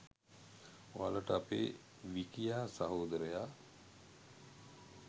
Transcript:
ඔයාලට අපේ විකියා සහෝදරයා